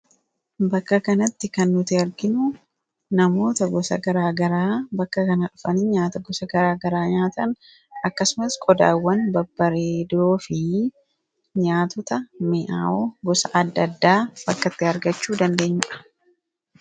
Bakka kanatti kan nuti arginu namoota gosa garaagara bakka kana dhufan nyaata gosa garaa garaa nyaatan akkasumas qodaawwan babbareedoo fi nyaatota mi'aawoo gosa adda addaa bakkatti argachuu dandeenyudha.